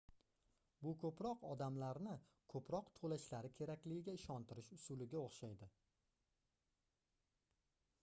bu koʻproq odamlarni koʻproq toʻlashlari kerakligiga ishontirish usuliga oʻxshaydi